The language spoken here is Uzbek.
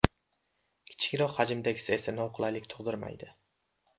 Kichikroq hajmdagisi esa noqulaylik tug‘dirmaydi.